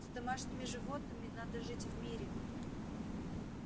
с домашними животными надо жить в мире